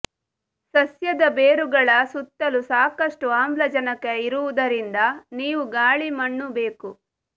ಸಸ್ಯದ ಬೇರುಗಳ ಸುತ್ತಲೂ ಸಾಕಷ್ಟು ಆಮ್ಲಜನಕ ಇರುವುದರಿಂದ ನೀವು ಗಾಳಿ ಮಣ್ಣು ಬೇಕು